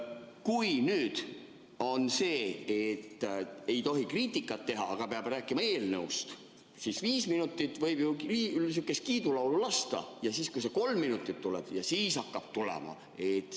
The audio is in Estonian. Kui nüüd on nii, et ei tohi kriitikat teha, aga peab rääkima eelnõust, siis viis minutit võib ju sihukest kiidulaulu lasta ja siis, kui see kolm minutit tuleb, siis hakkab tulema.